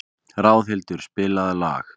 Ráðhildur, spilaðu lag.